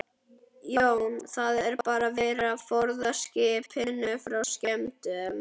Jón: Það er bara verið að forða skipinu frá skemmdum?